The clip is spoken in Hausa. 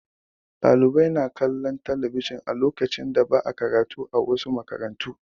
Ɗalibai na kalllon talabijin a lokacin da ba'a karatu, a wasu makarantun.